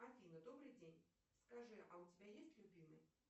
афина добрый день скажи а у тебя есть любимый